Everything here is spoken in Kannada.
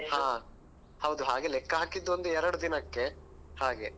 ಹ ಹೌದು ಹಾಗೆ ಲೆಕ್ಕ ಹಾಕಿದ್ ಒಂದು ಎರಡು ದಿನಕ್ಕೆ ಹಾಗೆ.